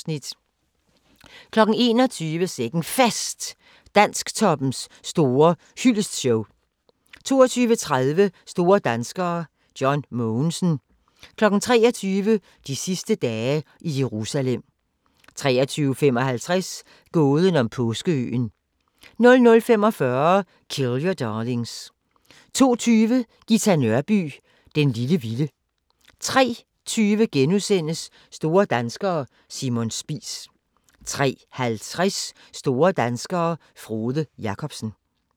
21:00: Sikke'n Fest – Dansktoppens store hyldestshow 22:30: Store danskere: John Mogensen 23:00: De sidste dage i Jerusalem 23:55: Gåden om Påskeøen 00:45: Kill Your Darlings 02:20: Ghita Nørby "Den lille vilde" 03:20: Store danskere: Simon Spies * 03:50: Store danskere - Frode Jakobsen